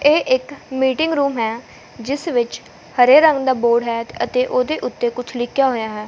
ਇਹ ਇੱਕ meeting room ਹੈ ਜਿਸ ਵਿੱਚ ਹਰੇ ਰੰਗ ਦਾ ਬੋਰਡ ਹੈ ਅਤੇ ਉਹਦੇ ਉੱਤੇ ਕੁਝ ਲਿਖਿਆ ਹੋਇਆ ਹੈ।